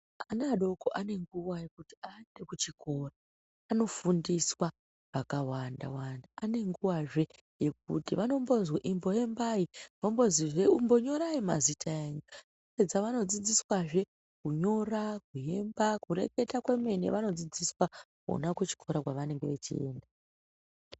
Ana adoko ane nguwa yekuti aenda kuchikora anofundiswa zvakawanda-wanda. Anenguwazve yekuti vanombizwi imboembai, vombozihe umbonyorai mazita enyu. Vapedza vanodzidziswahe kunyora, kuemba kureketa kwemene vanodzidziswa kuchikora kwavanenge veienda.